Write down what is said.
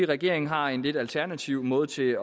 regeringen har en lidt alternativ måde til